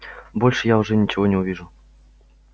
больше я уже ничего не увижу